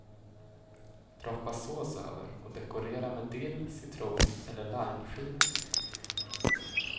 Droppa sås över och dekorera med dill, citron eller limeskivor.